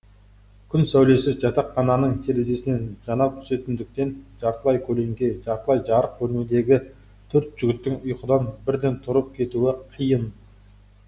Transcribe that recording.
күн сәулесі жатақхананың терезесінен жанап түсетіндіктен жартылай көлеңке жартылай жарық бөлмедегі төрт жігіттің ұйқыдан бірден тұрып кетуі қиын